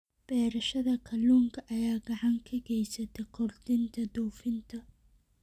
Beerashada kalluunka ayaa gacan ka geysata kordhinta dhoofinta.